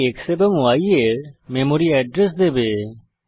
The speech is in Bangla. এটি x এবং y এর মেমরি এড্রেস দেবে